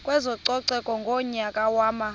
kwezococeko ngonyaka wama